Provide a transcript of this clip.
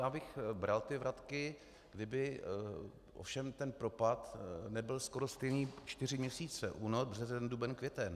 Já bych bral ty vratky, kdyby ovšem ten propad nebyl skoro stejný čtyři měsíce - únor, březen, duben, květen.